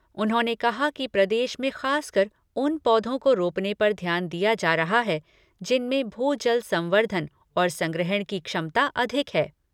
उन्होंने कहा कि प्रदेश में खासकर उन पौधों को रोपने पर ध्यान दिया जा रहा है, जिनमें भू जल संर्वधन और संग्रहण की क्षमता अधिक है।